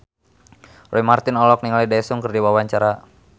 Roy Marten olohok ningali Daesung keur diwawancara